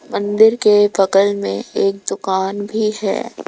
मंदिर के बगल में एक दुकान भी है।